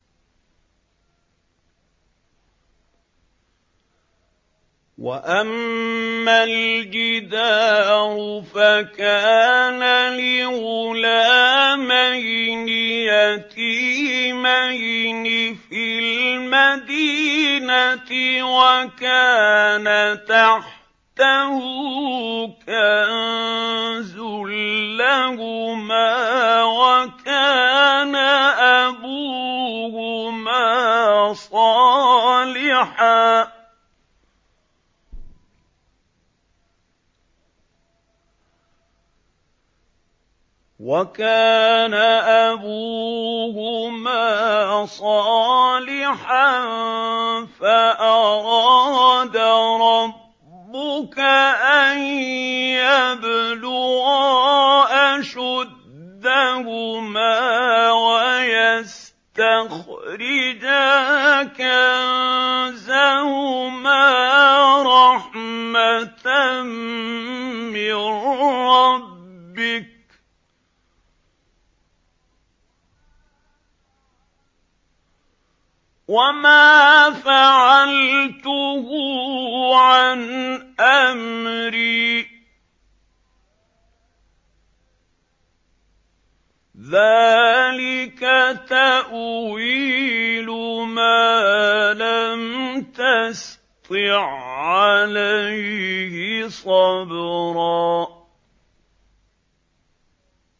وَأَمَّا الْجِدَارُ فَكَانَ لِغُلَامَيْنِ يَتِيمَيْنِ فِي الْمَدِينَةِ وَكَانَ تَحْتَهُ كَنزٌ لَّهُمَا وَكَانَ أَبُوهُمَا صَالِحًا فَأَرَادَ رَبُّكَ أَن يَبْلُغَا أَشُدَّهُمَا وَيَسْتَخْرِجَا كَنزَهُمَا رَحْمَةً مِّن رَّبِّكَ ۚ وَمَا فَعَلْتُهُ عَنْ أَمْرِي ۚ ذَٰلِكَ تَأْوِيلُ مَا لَمْ تَسْطِع عَّلَيْهِ صَبْرًا